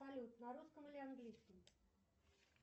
салют на русском или английском